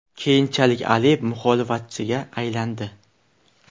Keyinchalik Aliyev muxolifatchiga aylandi.